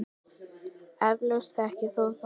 Eflaust þekkir þú það.